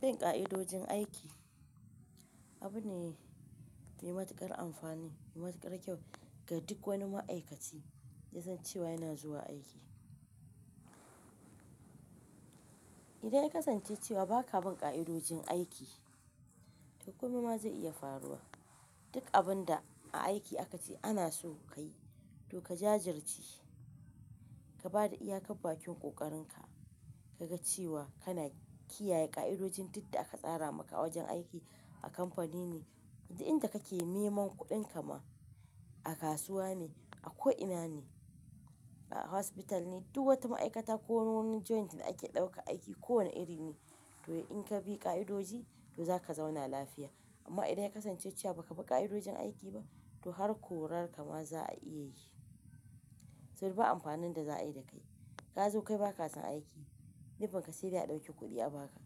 Bin ƙa'idojin aiki abu ne mai matuƙar amfani, mai matuƙar kyau ga duk wani ma'aikaci ya san cewa yana zuwa aiki. Idan ya kasance cewa ba ka bin ƙa'idojin aiki, to komai ma zai iya faruwa. Duk abun da a aiki aka ce ana so ka yi, to ka jajirce, ka bada iyakar bakin ƙoƙarinka, ka ga cewa kana kiyaye ƙa'idojin duk da aka tsara maka a wajen aiki a kamfani ne, inda kake neman kuɗinka ma a kasuwa ne, a ko'ina ne, a hospital ne, duk wata ma'aikata ko wani joint da ake ɗauka aiki kowane iri ne. To in ka bi ƙa'idoji, to za ka zauna lafiya. Amma idan ya kasance cewa ba ka bi ƙa'idojin aiki ba, to har korar ka ma za a iya yi. Saboda ba amfanin da za a yi da kai. Ka zo kai ba ka san aiki, ni ban ka sayar da a ɗauki kuɗi a ba ka.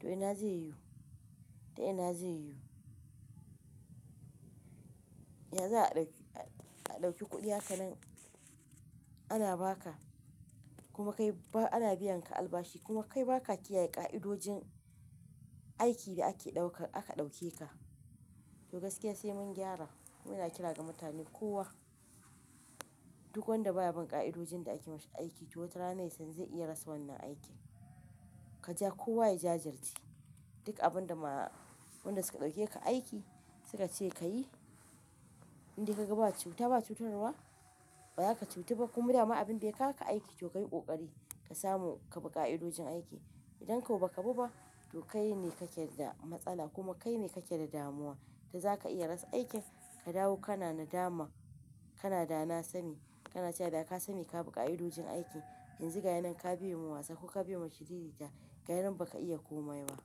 To ina zai yiwu? To ina zai yiwu? Ya za a ɗauki a ɗauki kuɗi haka nan ana ba ka kuma kai ba ana biyan ka albashi kuma kai ba ka kiyaye ƙa'idojin aiki da ake ɗauka aka ɗauke ka. To gaskiya sai mun gyara. Muna kira ga mutane kowa duk wanda baya bin ƙa'idojin da ake mashi aiki to wata rana sai zan iya rasa wannan aikin. Ka ja kowa ya jajirca. Duk abun da ma-wanɗan suka ɗauke ka aiki suka ce ka yi, indai ka ga ba cuta ba cutarwa, ba za ka cutu ba kuma dama abin bai ka ka aiki to ka yi ƙoƙari ka samu ka bi ƙa'idojin aiki. Idan kuwa ba ka bi ba, to kai ne kake da matsala kuma kai ne kake da damuwa. To za ka iya rasa aikin ka dawo kana na dama, kana da na sani, kana cewa da ka sani ka bi ƙa'idojin aiki. Yanzu ga ina ka biye ma wasa ko ka biye ma shirirrita, ga ina ba ka iya komai ba.